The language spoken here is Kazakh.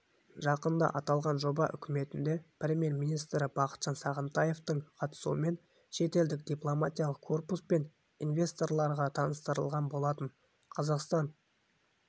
жақында аталған жоба үкіметінде премьер-министрі бақытжан сағынтаевтың қатысуымен шетелдік дипломатиялық корпус пен инвесторларға таныстырылған болатын қазақстан